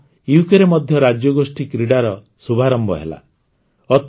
ସେଇଦିନ ଟକରେ ମଧ୍ୟ ରାଜ୍ୟଗୋଷ୍ଠୀ କ୍ରୀଡ଼ାର ଶୁଭାରମ୍ଭ ହେଲା